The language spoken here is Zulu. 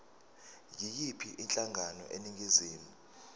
yiyiphi inhlangano eningizimu